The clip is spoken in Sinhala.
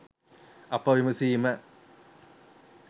අප විමසීම